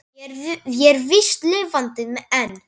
Ég er víst lifandi enn!